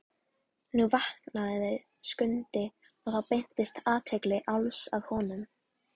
Nú vaknaði Skundi og þá beindist athygli Álfs að honum.